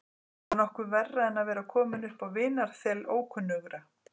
Var nokkuð verra en að vera kominn upp á vinarþel ókunnugra?